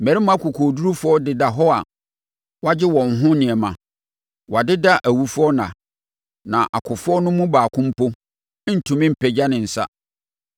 Mmarima akokoɔdurufoɔ deda hɔ a wɔagye wɔn ho nneɛma, wɔadeda awufoɔ nna; na akofoɔ no mu baako mpo ntumi mpagya ne nsa.